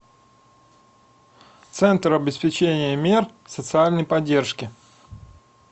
центр обеспечения мер социальной поддержки